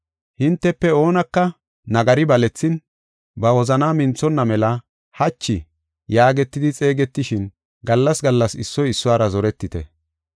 Hintefe oonaka nagari balethin, ba wozanaa minthonna mela “Hachi” yaagetidi xeegetishin gallas gallas issoy issuwara zoretite.